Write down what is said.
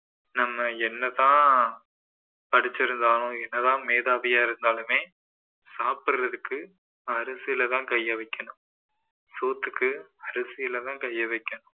நம்ம என்னதான் படிச்சிருந்தாலும் என்னதான் மேதாவியா இருந்தாலுமே சாப்பிடறதுக்கு அரிசில தான் கைய வைக்கணும் சோத்துக்கு அரிசில தான் கைய வைக்கணும்